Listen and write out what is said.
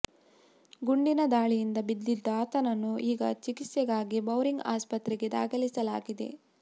ಗುಂಡಿನ ದಾಳಿಯಿಂದ ಬಿದ್ದಿದ್ದ ಆತನನ್ನು ಈಗ ಚಿಕಿತ್ಸೆಗಾಗಿ ಬೌರಿಂಗ್ ಆಸ್ಪತ್ರೆಗೆ ದಾಖಲಿಸಲಾಗಿದೆ